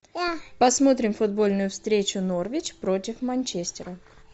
посмотрим футбольную встречу норвич против манчестера